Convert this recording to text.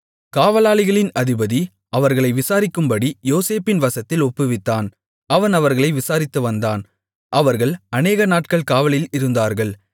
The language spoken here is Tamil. காவலாளிகளின் அதிபதி அவர்களை விசாரிக்கும்படி யோசேப்பின் வசத்தில் ஒப்புவித்தான் அவன் அவர்களை விசாரித்துவந்தான் அவர்கள் அநேகநாட்கள் காவலில் இருந்தார்கள்